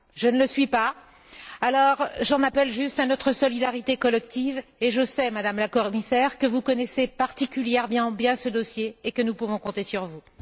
Je ne le suis pas, alors j'en appelle juste à notre solidarité collective et je sais, Madame la Commissaire, que vous connaissez particulièrement bien ce dossier et que nous pouvons compter sur vous.